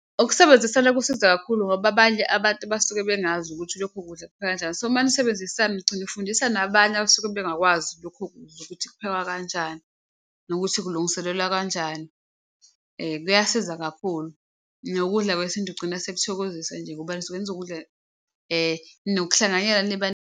Ukusebenzisana kusiza kakhulu ngoba abanye abantu basuke bengazi ukuthi lokho kudla kuphekwa kanjani, so uma nisebenzisana ugcina ufundisa nabanye abasuke bengakwazi lokho kudla ukuthi kuphekwa kanjani nokuthi kulungiselelwa kanjani. Kuyasiza kakhulu nokudla kwesintu kugcina sekuthokozisa nje ngoba nisuke nizokudla nokuhlanganyela .